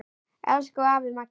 Elsku afi Maggi.